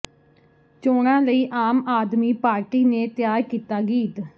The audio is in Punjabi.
ਚੋਣਾਂ ਲਈ ਆਮ ਆਦਮੀ ਪਾਰਟੀ ਨੇ ਤਿਆਰ ਕੀਤਾ ਗੀਤ